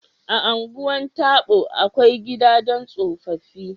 A Ungwan Tabo, akwai Gida don tsofaffi